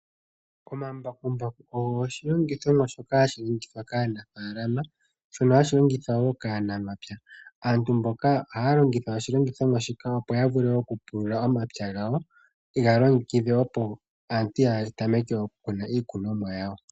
Omambakumbaku ogo oshilogithomwa shoka hashi longithwa kaanafaalama , shono hashi longithwa wo kaanamapya. Aantu mboka ohaya longitha oshilongithomwa shika opo ya vule oku pulula omapya gawo, ye ga longekidhe opo aantu ya tameke oku kuna iikunomwa yawo.